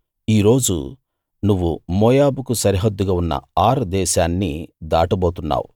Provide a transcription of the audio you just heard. ఈ రోజు నువ్వు మోయాబుకు సరిహద్దుగా ఉన్న ఆర్ దేశాన్ని దాటబోతున్నావు